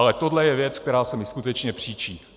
Ale tohle je věc, která se mi skutečně příčí.